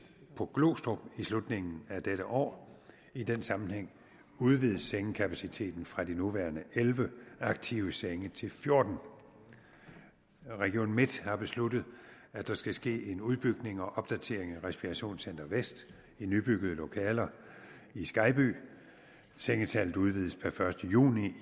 på glostrup i slutningen af dette år i den sammenhæng udvides sengekapaciteten fra de nuværende elleve aktive senge til fjortende region midtjylland har besluttet at der skal ske en udbygning og opdatering af respirationscenter vest i nybyggede lokaler i skejby sengetallet udvides per første juni